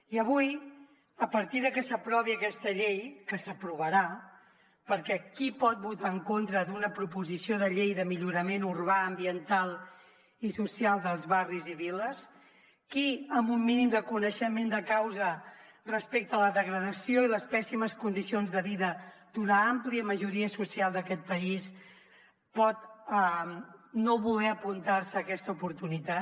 i avui a partir de que s’aprovi aquesta llei que s’aprovarà perquè qui pot votar en contra d’una proposició de llei de millorament urbà ambiental i social dels barris i viles qui amb un mínim de coneixement de causa respecte a la degradació i les pèssimes condicions de vida d’una àmplia majoria social d’aquest país pot no voler apuntar se a aquesta oportunitat